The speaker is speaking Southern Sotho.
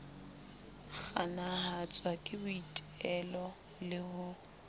kganahatswa ke boitelo le ho